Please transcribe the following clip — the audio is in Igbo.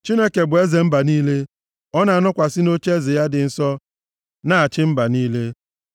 Chineke bụ eze mba niile; ọ na-anọkwasị nʼocheeze ya dị nsọ na-achị mba niile.